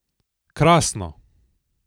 Krasno!